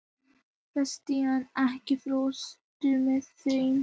Bastían, ekki fórstu með þeim?